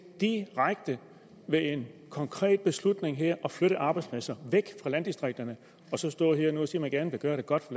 direkte ved en konkret beslutning her at flytte arbejdspladser væk fra landdistrikterne og så stå her nu og sige at man gerne vil gøre det godt